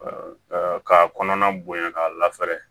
Ka k'a kɔnɔna bonya k'a lafɛrɛ